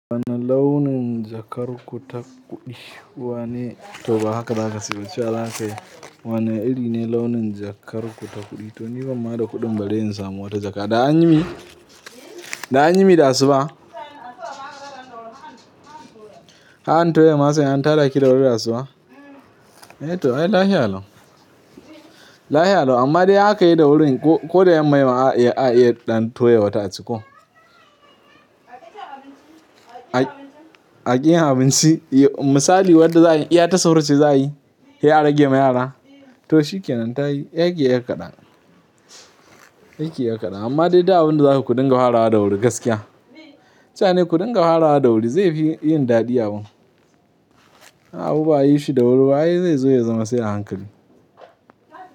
Wane launin jakar ku takuɗi. Wane? To ba haka zaka ce ba, cewa zakayi. Wane iri ne launin jakarku ta kuɗi? To ni bani ma da kuɗin bare in samu wata jaka. Da an yi mi, da an yi mi da asuba? Kan toya masar, sai an tada ki da wuri da asuba? Eh to ai lafiya lau. Lafiya lau amma dai in akayi da wurin ko, ko da yamma ne ma a iya, a iya ɗan toya wata a ciko. A ƙi yin abinci. Misali wadda za'a yi, iya ta sahur ce za'a yi? Sai a rage ma yara? To shikenan tayi. Sai kiyi 'yar kaɗan. Sai kiyi yar kaɗan. Amma dai duk abinda zakuyi kudinga farawa da wuri gaskiya. Cewa nayi ku dinga farawa da wuri zai fi yin daɗi da wuri. Amma abu ba'a yishi da wuri ba ai zai zo ya zama sai a hankali.